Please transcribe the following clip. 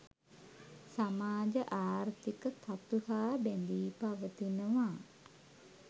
සමාජ ආර්ථීක තතු හා බැඳී පවතිනවා.